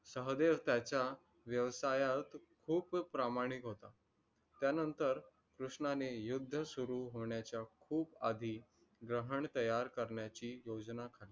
सहदेव त्याचा व्यवसायात खूप प्रामाणिक होता, त्या नंतर कृष्णाने युद्ध सुरु होण्याचा खूप आदी ग्रहण तयार करण्याची योजना